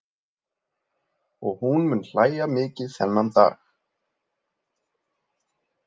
Og hún mun hlæja mikið þennan dag.